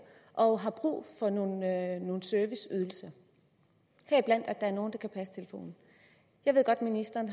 og har brug for nogle nogle serviceydelser heriblandt at der er nogen der kan passe telefonen jeg ved godt at ministeren